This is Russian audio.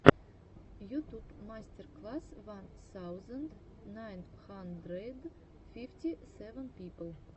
ютуб мастер класс ван саузенд найн хандрэд фифти сэвэн пипл